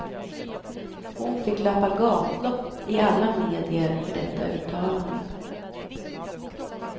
Hon fick löpa gatlopp i alla medier för detta uttalande.